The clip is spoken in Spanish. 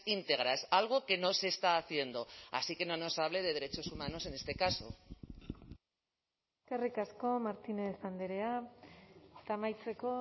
íntegras algo que no se está haciendo así que no nos hable de derechos humanos en este caso eskerrik asko martínez andrea eta amaitzeko